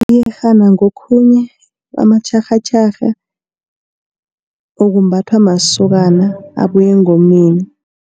Iyerhana ngokhunye amatjharhatjharha, okumbathwa masokana abuya engomeni.